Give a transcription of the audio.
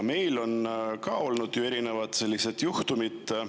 Meil on ju ka olnud erinevaid juhtumeid.